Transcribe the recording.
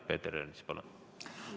Peeter Ernits, palun!